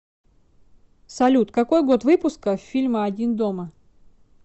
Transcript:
салют какой год выпуска фильма один дома